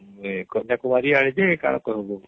କନ୍ୟା କୁମାରୀ ଆର୍ଡି କଣ କହିବୁ